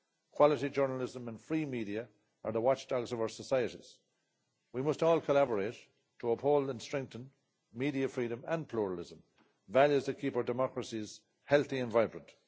Quality journalism and free media are the watchdogs of our societies. We must all collaborate to uphold and strengthen media freedom and pluralism, values that keep our democracies healthy and vibrant.